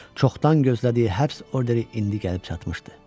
Çoxdan gözlədiyi həbs orderi indi gəlib çatmışdı.